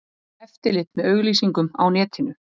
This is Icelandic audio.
Eftirlit með auglýsingum á netinu